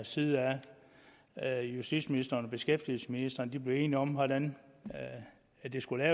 side at justitsministeren og beskæftigelsesministeren er blevet enige om hvordan det skulle